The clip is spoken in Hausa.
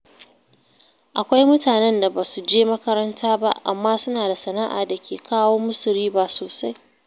Akwai mutanen da ba su je makaranta ba, amma suna da sana’a da ke kawo musu riba sosai.